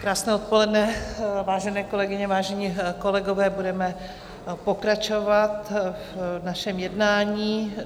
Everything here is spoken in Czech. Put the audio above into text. Krásné odpoledne, vážené kolegyně, vážení kolegové budeme pokračovat v našem jednání.